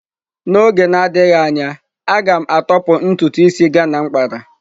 N'oge na-adịghị anya, a ga m atọpụ ntutu ịsị Ghana m kpaa..